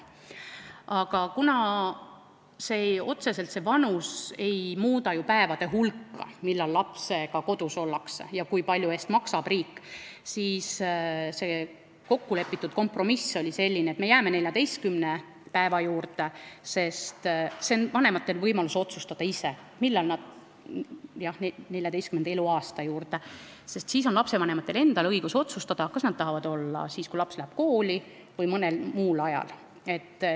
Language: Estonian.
Aga kuna see vanus ei muuda otseselt ju nende päevade hulka, millal lapsega kodus ollakse ja mille eest maksab riik, oli kompromiss selline, et me jääme 14. eluaasta juurde, siis on lastevanematel endal õigus otsustada, kas nad tahavad olla kodus siis, kui laps läheb kooli, või mõnel muul ajal.